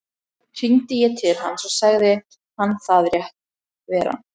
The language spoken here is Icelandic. Hringdi ég til hans og sagði hann það rétt vera.